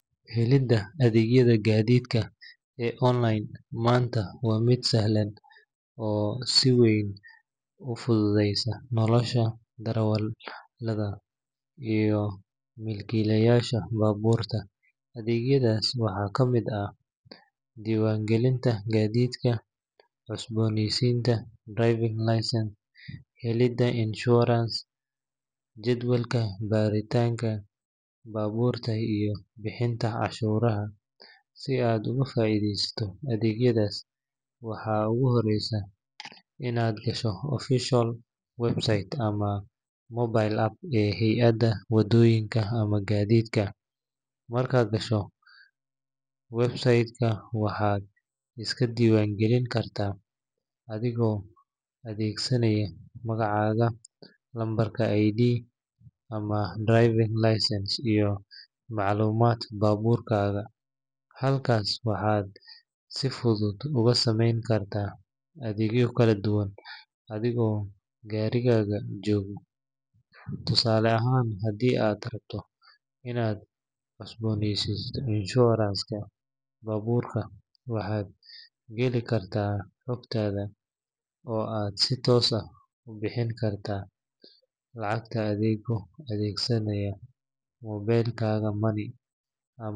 Helidda adeegyada gaadiidka ee online maanta waa mid sahlan oo si weyn u fududeysay nolosha darawallada iyo milkiilayaasha baabuurta. Adeegyadaas waxaa ka mid ah diiwaangelinta gaadiidka, cusboonaysiinta driving licence, helidda insurance, jadwalka baaritaanka baabuurta, iyo bixinta canshuuraha. Si aad uga faa’iideysato adeegyadaas, waxa ugu horreeya waa inaad gasho official website ama mobile app ee hay’adda waddooyinka ama gaadiidka. Markaad gasho website-ka, waxaad iska diiwaan gelin kartaa adigoo adeegsanaya magacaaga, lambarka ID ama driving licence, iyo macluumaadka baabuurkaaga. Halkaas waxaad si fudud uga samayn kartaa adeegyo kala duwan adigoo gurigaaga jooga. Tusaale ahaan, haddii aad rabto inaad cusboonaysiiso insurance-ka baabuurka, waxaad geli kartaa xogtaada oo aad si toos ah u bixin kartaa lacagta adigoo adeegsanaya mobile money ama bank card.